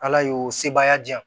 Ala y'o sebaya di yan